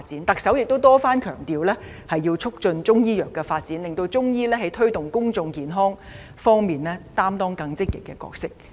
特首也多番強調要促進中醫藥的發展，令中醫在推動公眾健康方面擔當更積極的角色。